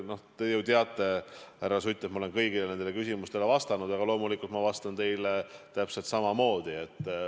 No te ju teate, härra Sutt, et ma olen kõigile nendele küsimustele vastanud, aga loomulikult ma vastan teile täpselt samamoodi.